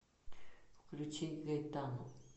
включить гайтану